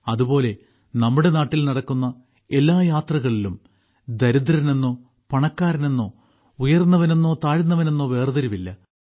അതുപോലെ നമ്മുടെ നാട്ടിൽ നടക്കുന്ന എല്ലാ യാത്രകളിലും ദരിദ്രനെന്നോ പണക്കാരനെന്നോ ഉയർന്നവനെന്നോ താഴ്ന്നവനെന്നോ വേർതിരിവില്ല